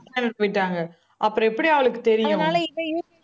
போய்ட்டாங்க அப்புறம் எப்படி அவளுக்கு தெரியும்?